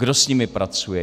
Kdo s nimi pracuje?